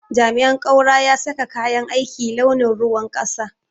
jami'in kaura ya saka kayan aiki launin ruwan kasa.